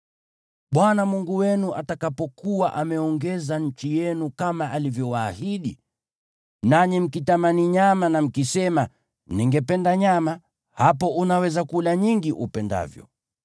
Bwana Mungu wenu atakapokuwa ameongeza nchi yenu kama alivyowaahidi, nanyi mkitamani nyama na mkisema, “Ningependa nyama,” hapo unaweza kula nyingi upendavyo.